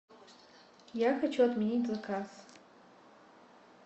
я хочу отменить заказ